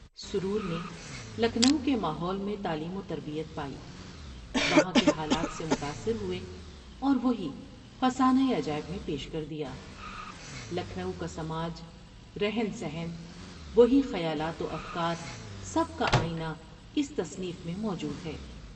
سرور نے لکھنؤ کے ماحول میں تعلیم وتربیت پائی وہاں کے حالات سے متاثر ہوئے اور وہی '' فسانہ عجائب '' میں پیش کر دیا۔ لکھنو کا سماج رہن سہن وہی خیالات و افکار سب کا آئینہ اس تصنیف میں موجود ہے ۔